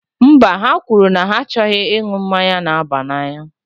Mba, ha kwuru, anyị achọghị ịṅụ mmanya na-aba n'anya